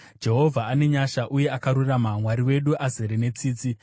Jehovha ane nyasha uye akarurama; Mwari wedu azere netsitsi.